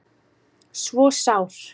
svo sár